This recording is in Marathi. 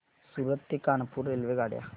सूरत ते कानपुर रेल्वेगाड्या